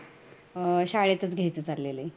अह शाळेतच घेयचं चाललेलं आहे